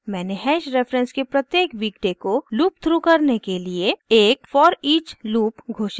मैंने hash reference के प्रत्येक वीकडे को लूपथ्रू करने के लिए एक foreach loop घोषित किया है